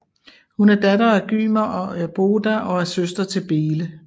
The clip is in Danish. Hun er datter af Gymer og Ørboda og er søster til Bele